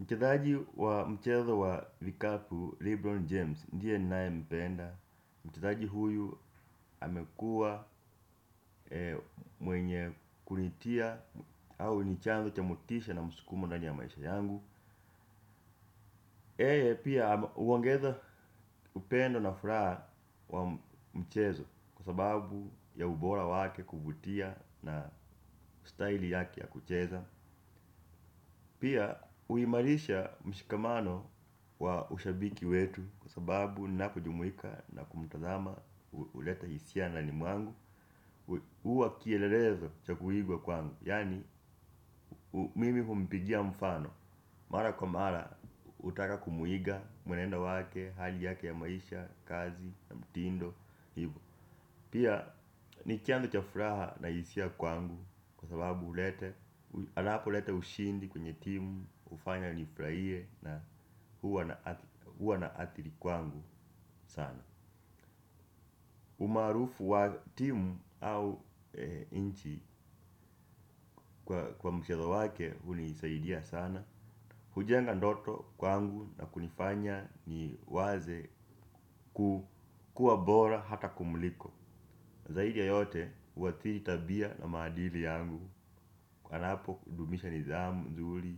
Mchezaji wa mchezo wa vikapu Lebron James, ndiye ninaye mpenda mchezaji huyu amekuwa mwenye kunitia au nichanzo cha motisha na mskumo ndani ya maisha yangu yeye pia huongeza upendo na furaha wa mchezo kwa sababu ya ubora wake kuvutia na style yake ya kucheza pia huimarisha mshikamano wa ushabiki wetu kwa sababu ninapo jumuika na kumtazama huleta hisia ndani mwangu huwa kielelezo cha kuigwa kwangu yaani mimi humpigia mfano mara kwa mara hutaka kumuiga mwenendo wake hali yake ya maisha, kazi, mtindo, hivo pia ni chanzo cha furaha na hisia kwangu kwa sababu hulete anapo leta ushindi kwenye timu, hufanya nifurahie na huwa na athiri kwangu sana umaarufu wa timu au nchi kwa mchezo wake hunisaidia sana hujenga ndoto kwangu na kunifanya ni waze kuwa bora hata kumliko zaidi ya yote huathiri tabia na maadili yangu napo kudumisha nidhamu nzuri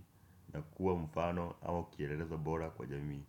na kuwa mfano au kielelezo bora kwa jamii.